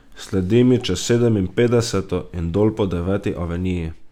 Sledim ji čez Sedeminpetdeseto in dol po Deveti aveniji.